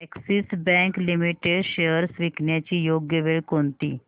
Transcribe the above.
Axis bank limited shares विकण्याची योग्य वेळ कोणती